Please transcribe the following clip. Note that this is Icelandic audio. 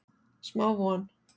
Smá von